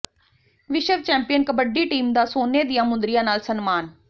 ਵਿਸ਼ਵ champion kabaddi team ਦਾ ਸੋਨੇ ਦੀਆਂ ਮੁੰਦਰੀਆਂ ਨਾਲ ਸਨਮਾਨ